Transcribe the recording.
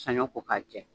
Sanɲɔ ko k'a jɛ